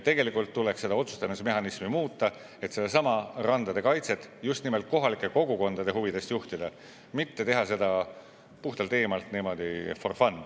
Tegelikult tuleks otsustamise mehhanismi muuta, et sedasama randade kaitset just nimelt kohalike kogukondade huvides juhtida, mitte teha seda puhtalt eemalt, niimoodi for fun.